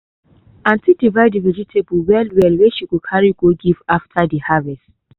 auntie divide de vegetables well well wey she go carry go give after de harvest.